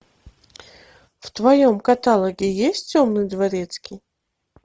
в твоем каталоге есть темный дворецкий